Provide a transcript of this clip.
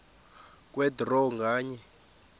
kwe draw nganye